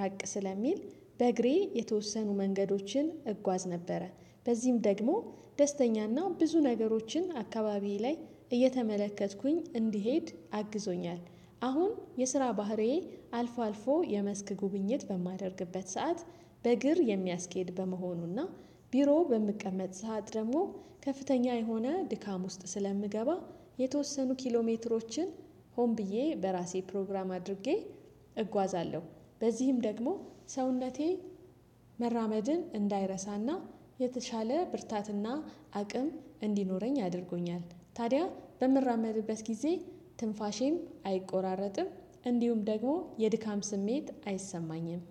ራቅ ስለሚል በእግሬ የተወሰኑ መንገዶችን እጓዝ ነበረ። በዚህም ደግሞ ደስተኛና ብዙ ነገሮችን አካባቢዬ ላይ እየተመለከትኩኝ እንድሄድ አግዞኛል። አሁን የስራ ባህሪዬ አልፎ አልፎ የመስክ ጉብኝት በማደርግበት ሰዓት በእግር የሚያስኬድ በመሆኑና ቢሮው በምቀመጥ ሰዓት ደግሞ ከፍተኛ የሆነ ድካም ውስጥ ስለምገባ የተወሰኑ ኪሎሜትሮችን ሆን ብዬ በራሴ ፕሮግራም አድርጌ እጓዛለሁ። በዚህም ደግሞ ሰውነቴ መራመድን እንዳይረሳና የተሻለ ብርታትና አቅም እንዲኖረኝ አድርጎኛል። ታዲያ በምራመድበት ጊዜ ትንፋሼም አይቆራረጥም እንዲሁም ደግሞ የድካም ስሜት አይሰማኝም